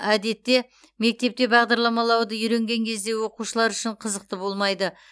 әдетте мектепте бағдарламалауды үйренген кезде оқушылар үшін қызықты болмайды